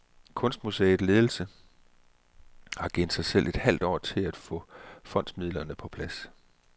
Kunstmuseets ledelse har givet sig selv et halvt år til at få fondsmidlerne på plads.